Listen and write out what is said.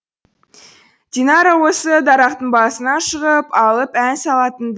динара осы дарақтың басына шығып алып ән салатын